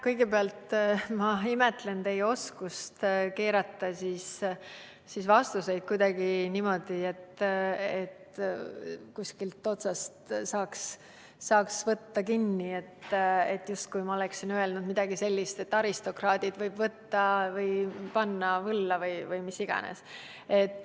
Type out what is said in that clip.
Kõigepealt, ma imetlen teie oskust keerata vastuseid kuidagi niimoodi, et kuskilt otsast saaks kinni võtta, justkui oleksin ma öelnud midagi sellist, et aristokraadid võib võlla tõmmata või mis iganes.